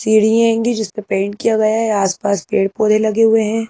चिड़िये आयेंगी जिसपे पेंट किया गया है आसपास पेड़-पौधे लगे हुए है।